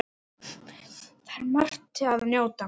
Þar er margs að njóta.